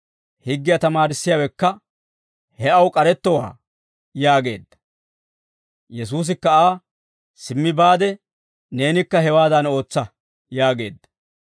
Higgiyaa tamaarissiyaawekka, «He aw k'arettowaa» yaageedda. Yesuusikka Aa, «Simmi baade neenikka hewaadan ootsa» yaageedda.